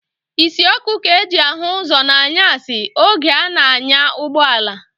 Isi ọkụ ka e ji ahụ ụzọ n'anyasị oge a na-anya ụgbọala.